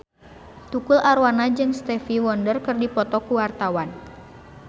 Tukul Arwana jeung Stevie Wonder keur dipoto ku wartawan